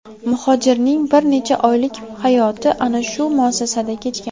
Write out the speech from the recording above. Muhojirning bir necha oylik hayoti ana shu muassasada kechgan.